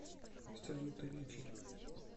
салют авичи